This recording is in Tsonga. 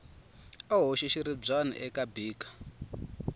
a hoxa xiribyana eka beaker